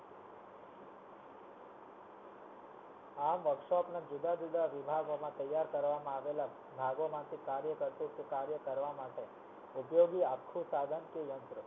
આ workshop ના જુદા જુદા વિભાગહોમ તૈયાર કરવામાં આવેલા કાર્ય કરવા માટે ઉપયોગી સાધન કે યંત્ર